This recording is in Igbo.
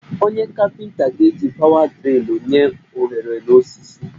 Onye kapịnta ga-eji pawa drịlụ nye ohere n'osisi